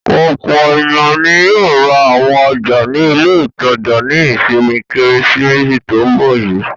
Ọ̀pọ̀ ènìyàn ni yóò ra àwọn ọjà ní ilé-ìtajà ní ìsinmi Kérésìmesì tó ń bọ̀ yìí.